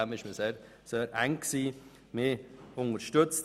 Deswegen war es ziemlich eng.